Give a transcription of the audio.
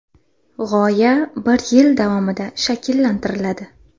G‘oya bir yil davomida shakllantiriladi.